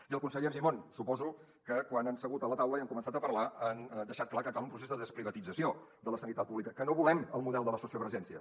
i al conseller argimon suposo que quan han segut a la taula i han començat a parlar han deixat clar que cal un procés de desprivatització de la sanitat pública que no volem el model de la sociovergència